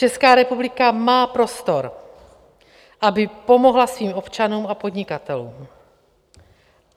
Česká republika má prostor, aby pomohla svým občanům a podnikatelům.